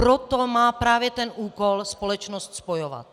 Proto má právě ten úkol společnost spojovat.